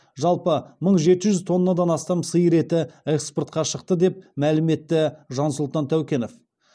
жалпы мың жеті жүз тоннадан астам сиыр еті экспортқа шықты деп мәлім етті жансұлтан тәукенов